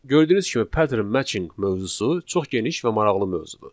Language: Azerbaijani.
Gördüyünüz kimi pattern matching mövzusu çox geniş və maraqlı mövzudur.